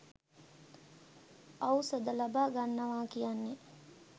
ඖෂධ ලබා ගන්නවා කියන්නේ